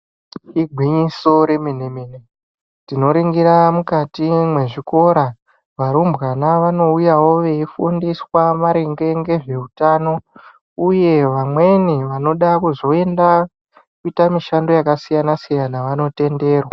Igwinyiso remene-mene tinoringira mukati mwezvikora varumbwana vanouyawo veifundiswa maringe ngezveutano uye vamweni vanoda kuzoenda kuita mishando yakasiyana-siyana vanotenderwa.